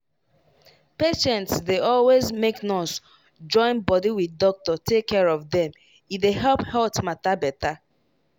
patients dey always make nurse join body wit doctor take care of dem e dey help health matter better.